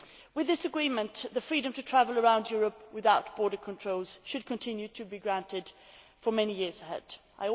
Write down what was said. With this agreement, the freedom to travel around Europe without border controls should continue to be granted for many years to come.